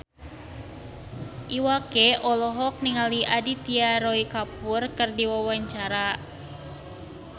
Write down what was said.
Iwa K olohok ningali Aditya Roy Kapoor keur diwawancara